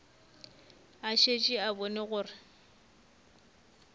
a šetše a bone gore